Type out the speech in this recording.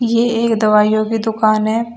ये एक दवाइयो की दुकान है।